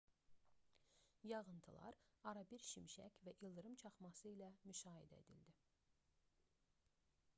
yağıntılar arabir şimşək və ildırım çaxması ilə müşayiət edildi